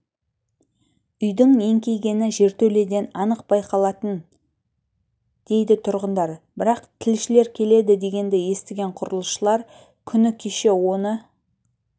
үйдің еңкейгені жертөледен анық байқалатын дейді тұрғындар бірақ тілшілер келеді дегенді естіген құрылысшылар күні кеше оны